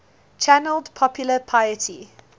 channeled popular piety